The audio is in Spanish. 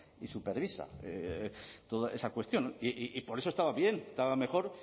y supervisa toda esa cuestión y por eso estaba bien estaba mejor